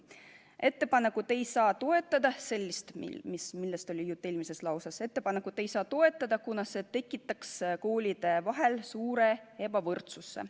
Seda ettepanekut, millest oli juttu eelmises lauses, ei saa toetada, kuna see tekitaks koolide vahel suure ebavõrdsuse.